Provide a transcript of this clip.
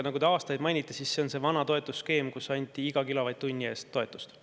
Aga te mainisite aastaid – see on see vana toetusskeem, kus anti iga kilovatt-tunni eest toetust.